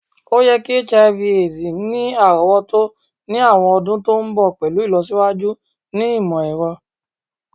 o ye ki Hiv/Aids ni arowoto ni awọn ọdun to nbọ pẹlu ilosiwaju ni imọ-ẹrọ